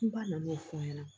Ba nana n'o fɔ an ɲɛna